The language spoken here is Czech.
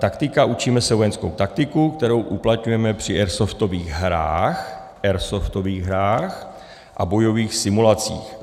Taktika: Učíme se vojenskou taktiku, kterou uplatňujeme při airsoftových hrách - airsoftových hrách! - a bojových simulacích.